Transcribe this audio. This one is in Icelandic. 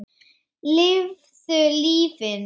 Lifðu lífinu.